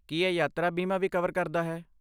ਕੀ ਇਹ ਯਾਤਰਾ ਬੀਮਾ ਵੀ ਕਵਰ ਕਰਦਾ ਹੈ?